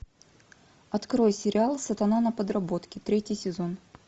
открой сериал сатана на подработке третий сезон